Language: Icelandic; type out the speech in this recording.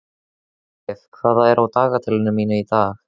Hjörleif, hvað er á dagatalinu mínu í dag?